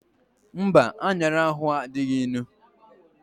Mba, anyara ahu adịghị ịnụ